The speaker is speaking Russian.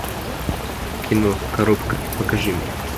кино коробка покажи мне